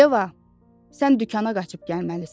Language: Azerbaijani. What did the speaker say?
Yeva, sən dükana qaçıb gəlməlisən.